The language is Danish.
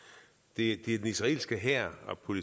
det